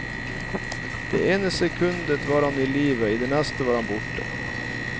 Det ene sekundet var han i live, i det neste var han borte.